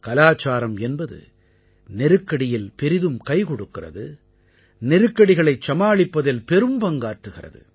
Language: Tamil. கலாச்சாரம் என்பது நெருக்கடியில் பெரிதும் கைக்கொடுக்கிறது நெருக்கடிகளைச் சமாளிப்பதில் பெரும்பங்காற்றுகிறது